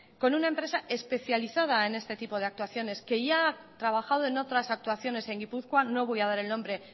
con una empresa especializada en este tipo de actuaciones que ya ha trabajado en otras actuaciones en gipuzkoa no voy a dar el nombre